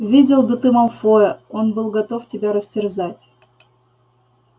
видел бы ты малфоя он был готов тебя растерзать